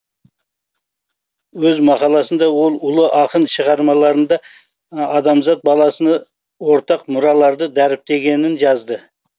өз мақаласында ол ұлы ақын шығармаларында адамзат баласына ортақ мұраларды дәріптегенін жазды